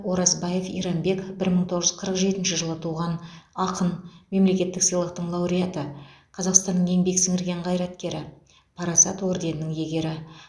оразбаев иранбек бір мың тоғыз жүз қырық жетінші жылы туған ақын мемлекеттік сыйлықтың лауреаты қазақстанның еңбек сіңірген қайраткері парасат орденінің иегері